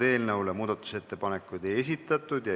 Eelnõu kohta muudatusettepanekuid ei esitatud.